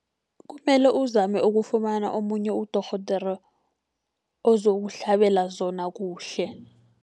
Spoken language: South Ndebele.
Kumele uzame ukufumana omunye udorhodere ozokuhlabela zona kuhle.